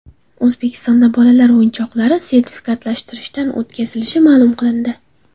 O‘zbekistonda bolalar o‘yinchoqlari sertifikatlashtirishdan o‘tkazilishi ma’lum qilindi.